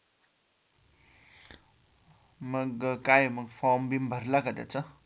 मग काय मग form भरला का त्याचा